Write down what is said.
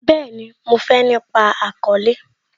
Bẹẹni, mo fé nípa àkọ́lẹ́